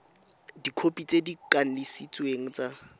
dikhopi tse di kanisitsweng tsa